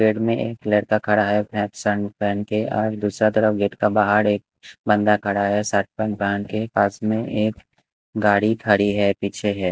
Side में एक लड़का खड़ा है पेंट शर्ट पहन के और दूसरा तरफ गेट का बाहर एक बंदा खड़ा है शर्ट पेंट पहन के पास में एक गाड़ी खड़ी है पीछे है।